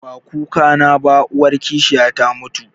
Ba kukana ba, uwar kishiya ta mutu